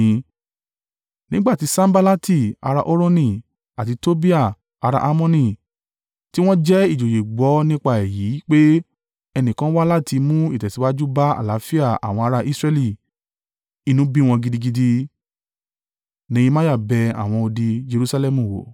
Nígbà tí Sanballati ará Horoni àti Tobiah ará a Ammoni tí wọ́n jẹ́ ìjòyè gbọ́ nípa èyí pé, ẹnìkan wá láti mú ìtẹ̀síwájú bá àlàáfíà àwọn ará Israẹli inú bí wọn gidigidi.